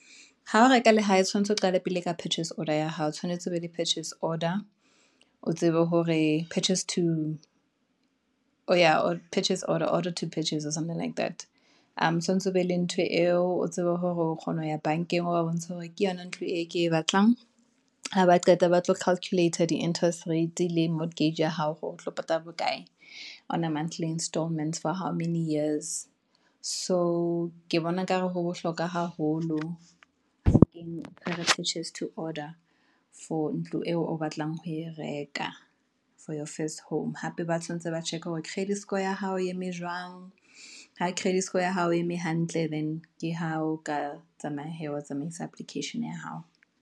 Ha o reka lehae tshwantse o qala pele ka purchase order ya hao, o tshwanetse o be le purchase order, o tsebe hore purchase to order or something like that, aa tshwanetse o be le ntho eo o tsebe hore o kgona ho ya bank-eng, o ba bontsha hore ke yona ntho e ke e batlang. Haba qeta ba tlo calculater di-interest rates, le mortgage ya hao hore otlo patala bo kae, on a monthly installments for how many years. So ke bona ekare ho bohlokwa haholo, purchase to order for ntlo eo o batlang ho e reka, for your first home, hape ba tshwanetse ba check hore credit score ya hao e eme jwang, ha credit score ya hao e eme hantle. Then ke ha o ka tsamaya hee, wa tsamaisa application ya hao.